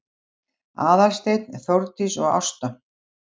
Aðalsteinn, Þórdís og Ásta